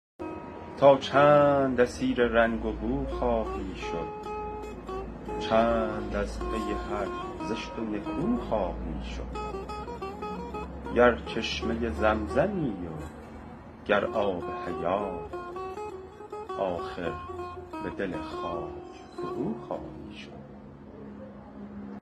تا چند اسیر رنگ و بو خواهی شد چند از پی هر زشت و نکو خواهی شد گر چشمه زمزمی و گر آب حیات آخر به دل خاک فروخواهی شد